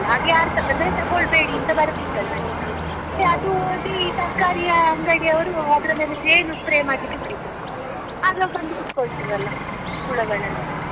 ಅದು ಯಾರ್ ಸ ಅಂದ್ರೆ ತೋಕೊಳ್ಬೇಡಿ ಅಂತ ಬರ್ದಿತ್ತು ಅದ್ರಲ್ಲಿ ಅದು ಓದಿ ತರ್ಕಾರಿಯ ಅಂಗಡಿಯವರು ಅದ್ರ ಮೇಲೆ ಜೇನು spray ಮಾಡ್ಲಿಕ್ಕೆ ಆಗ ಬಂದು ಕೂತ್ಕೊಳ್ತದಲಾ ಹುಳಗಳೆಲ್ಲಾ .